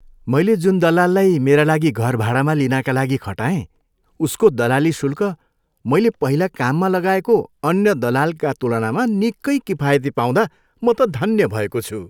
मैले जुन दलाललाई मेरा लागि घर भाडामा लिनाका लागि खटाएँ उसको दलाली शुल्क मैले पहिला काममा लगाएको अन्य दलालका तुलनामा निकै किफायती पाउँदा म त धन्य भएको छु।